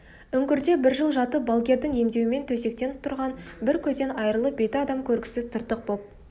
үңгірде бір жыл жатып балгердің емдеуімен төсектен тұрған бір көзден айырылып беті адам көргісіз тыртық боп